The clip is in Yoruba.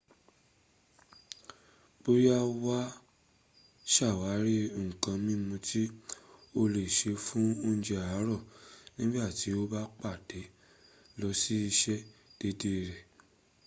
boya waa sawari nkan mimu ti o le se fun ounje aaro nigba ti o ba pada lo si ise deede re